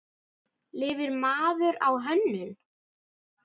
Lifir maður á hönnun?